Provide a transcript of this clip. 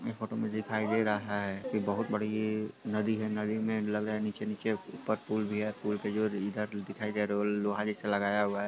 यह फोटो में दिखाई दे रहा है की बहुत बड़ी नदी है| नदी में लग रहा है निचे उप्पर पुल भी है| पुल के जो इधर दिखाई दे रहा है वो लोहा जैसा लगा हु है|